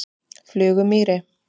Flugumýri